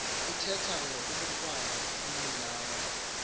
ithetha ngobhukwana umninawa